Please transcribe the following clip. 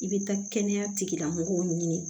I bɛ taa kɛnɛya tigilamɔgɔw ɲini